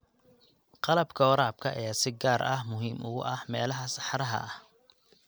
Qalabka waraabka ayaa si gaar ah muhiim ugu ah meelaha saxaraha ah.